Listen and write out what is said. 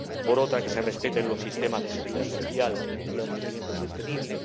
por otra, que se respeten los sistemas de seguridad social y el crecimiento sostenible